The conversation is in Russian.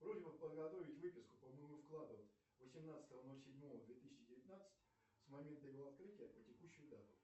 просьбе подготовить выписку по моему вкладу восемнадцатого ноль седьмого две тысячи девятнадцать с момента его открытия по текущую дату